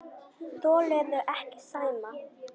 Þolirðu ekki Sæma?